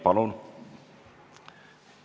Palun!